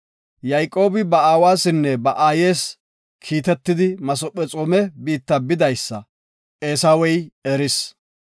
Yayqoobi ba aawasinne ba aayes kiitetidi Masephexoome biitta bidaysa, Eesawey eris.